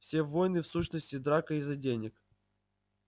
все войны в сущности драка из-за денег